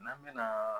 N'an bɛna